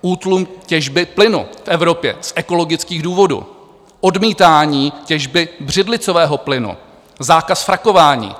Útlum těžby plynu v Evropě z ekologických důvodů, odmítání těžby břidlicového plynu, zákaz frakování.